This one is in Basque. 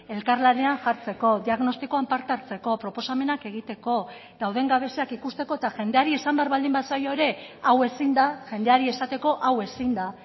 elkarlanean jartzeko diagnostikoan parte hartzeko proposamenak egiteko dauden gabeziak ikusteko eta jendeari esan behar baldin bazaio ere hau ezin da jendeari esateko hau ezin da